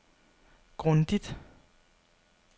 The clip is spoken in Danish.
grundigt